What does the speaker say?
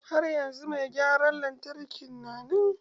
Har yanzu mai gyaran lantarkin na nan?